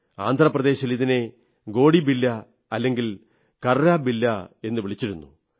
ആന്ധ്ര പ്രദേശിൽ ഇതിനെ ഗോടിബില്ലാ അല്ലെങ്കിൽ കർരാ ബില്ലാ എന്നു വളിച്ചിരുന്നു